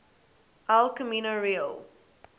el camino real